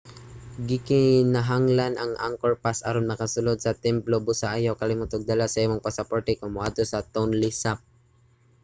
gikinahanglan ang angkor pass aron makasulod sa templo busa ayaw kalimot og dala sa imong pasaporte kon moadto sa tonle sap